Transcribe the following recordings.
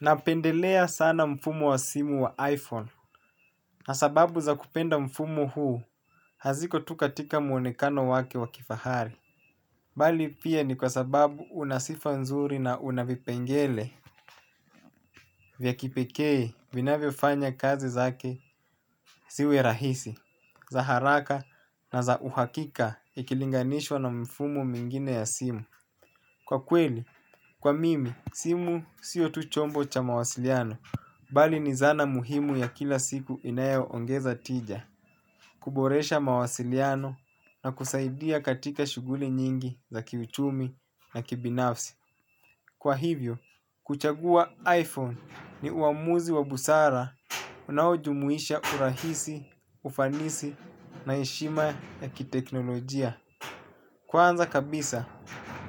Napendelea sana mfumo wa simu wa iPhone. Kwa sababu za kupenda mfumo huu. Haziko tu katika muonekano wake wa kifahari. Bali pia ni kwa sababu unasifa nzuri na una vipengele. Vya kipekee vinavyofanya kazi zake. Ziwe rahisi. Za haraka na za uhakika ikilinganishwa na mfumo mwingine ya simu. Kwa kweli, kwa mimi, simu sio tu chombo cha mawasiliano. Bali ni zana muhimu ya kila siku inayoongeza tija, kuboresha mawasiliano na kusaidia katika shughuli nyingi za kiuchumi na kibinafsi. Kwa hivyo, kuchagua iPhone ni uamuzi wa busara unaujumuisha urahisi, ufanisi na heshima ya kiteknolojia. Kwanza kabisa,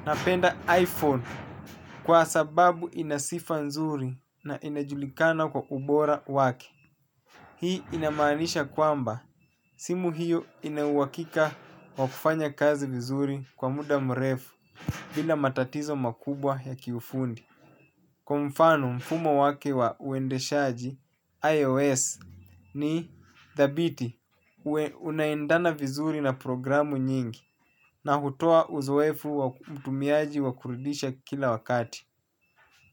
napenda iPhone kwa sababu inasifa nzuri na inajulikana kwa ubora wake. Hii inamaanisha kwamba simu hiyo inauhakika wa kufanya kazi vizuri kwa muda mrefu bila matatizo makubwa ya kiufundi. Kwa mfano mfumo wake wa uendeshaji IOS ni dhabiti. Unaendana vizuri na programu nyingi na hutoa uzoefu wa mtumiaji wa kurudisha kila wakati.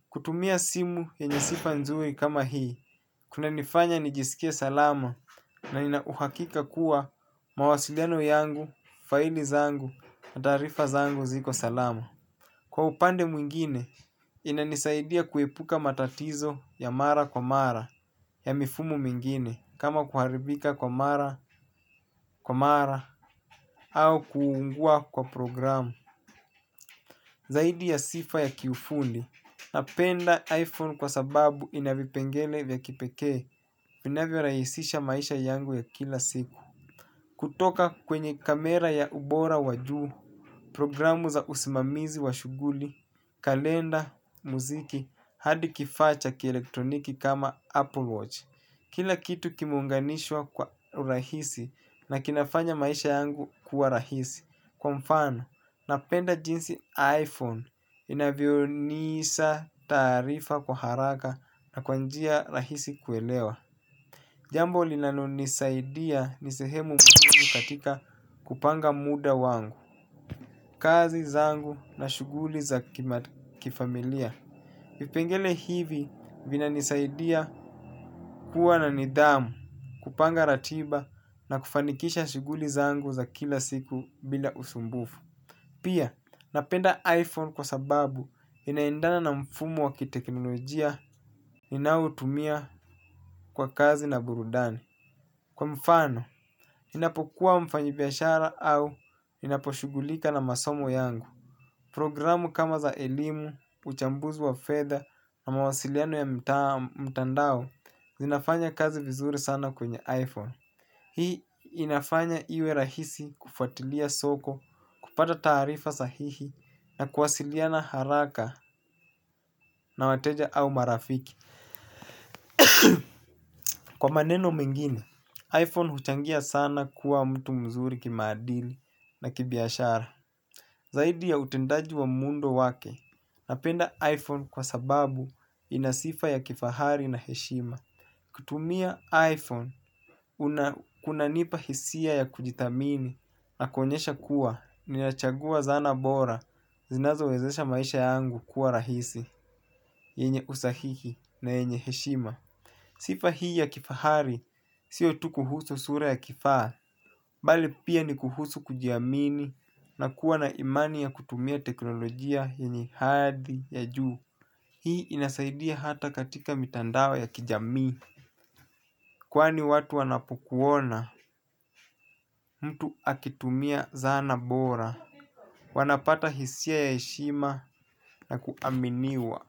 Kutumia simu yenye sifa nzuri kama hii kuna nifanya nijisikie salama. Na nina uhakika kuwa mawasiliano yangu, faili zangu, na tarifa zangu ziko salama. Kwa upande mwingine, inanisaidia kuepuka matatizo ya mara kwa mara ya mifumo mwingine. Kama kuharibika kwa mara, kwa mara, au kuungua kwa programu. Zaidi ya sifa ya kiufundi, napenda iPhone kwa sababu ina vipengele vya kipekee. Inavyo rahisisha maisha yangu ya kila siku. Kutoka kwenye kamera ya ubora wajuu, programu za usimamizi wa shuguli, kalenda, muziki, adi kifaa cha kielektroniki kama Apple Watch. Kila kitu kimeunganishwa kwa urahisi na kinafanya maisha yangu kuwa rahisi. Kwa mfano, napenda jinsi iPhone inavyonisaa tarifa kwa haraka na kwa njia rahisi kuelewa. Jambo linalo nisaidia ni sehemu mbili katika kupanga muda wangu, kazi zangu na shuguli za kifamilia. Vipengele hivi vina nisaidia kuwa na nidhamu, kupanga ratiba na kufanikisha shuguli zangu za kila siku bila usumbufu. Pia napenda iPhone kwa sababu inaendana na mfumo wa kiteknolojia ninayoitumia kwa kazi na burudani. Kwa mfano, ninapokua mfanyi biashara au ninapo shughulika na masomo yangu. Programu kama za elimu, uchambuzi wa fedha na mawasiliano ya mtandao zinafanya kazi vizuri sana kwenye iPhone. Hii inafanya iwe rahisi kufuatilia soko, kupata tarifa sahihi na kuwasiliana haraka na wateja au marafiki. Kwa maneno mengine, iPhone huchangia sana kuwa mtu mzuri kimaadili na kibiashara. Zaidi ya utendaji wa muundo wake, napenda iPhone kwa sababu ina sifa ya kifahari na heshima. Kutumia iPhone, kunanipa hisia ya kujithamini na kuonyesha kuwa ninachagua zana bora, zinazo wezesha maisha yangu kuwa rahisi, yenye usahihi na yenye heshima. Sifa hii ya kifahari, sio tu kuhusu sura ya kifaa, bali pia ni kuhusu kujiamini na kuwa na imani ya kutumia teknolojia yenye hadhi ya juu. Hii inasaidia hata katika mitandao ya kijamii, kwani watu wanapokuona, mtu akitumia zana bora, wanapata hisia ya heshima na kuaminiwa.